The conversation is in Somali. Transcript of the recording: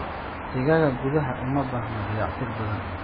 Digaagga gudaha uma baahna dayactir badan.